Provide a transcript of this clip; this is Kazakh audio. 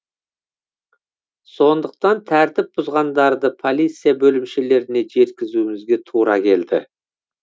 сондықтан тәртіп бұзғандарды полиция бөлімшелеріне жеткізуімізге тура келді